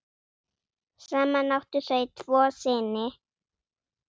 Saman áttu þau tvo syni.